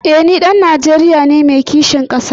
Eh ni ɗan Najeriya ne mai kishin ƙasa.